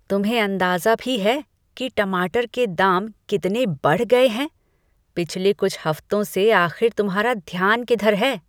तुम्हें अंदाज़ा भी है कि टमाटर के दाम कितने बढ़ गए हैं? पिछले कुछ हफ्तों से आख़िर तुम्हारा ध्यान किधर है?